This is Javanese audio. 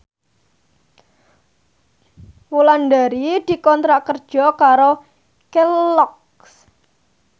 Wulandari dikontrak kerja karo Kelloggs